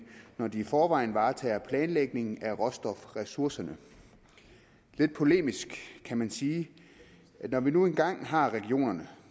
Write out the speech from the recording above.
når de i forvejen varetager planlægningen af råstofressourcerne lidt polemisk kan man sige at når vi nu engang har regionerne